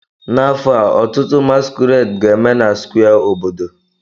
N'afọ a, ọtụtụ masquerades ga-eme na Square obodo.